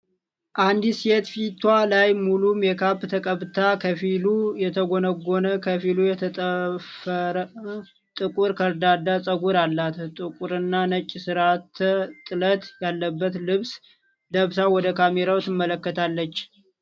አንዲት ሴት ፊቷ ላይ ሙሉ ሜካፕ ተቀብታ፣ ከፊሉ የተጎነጎነ ከፊሉ የተጠፈረ ጥቁር ከርዳዳ ፀጉር አላት። ጥቁርና ነጭ ስርዓተ-ጥለት ያለበት ልብስ ለብሳ ወደ ካሜራው ትመለከታለች።